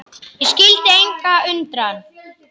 Og skyldi engan undra.